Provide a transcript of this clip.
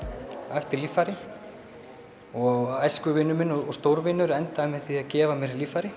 eftir líffæri og æsku og stórvinur minn endaði með því að gefa mér líffæri